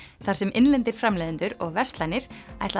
þar sem innlendir framleiðendur og verslanir